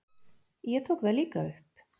Ég tók það líka upp.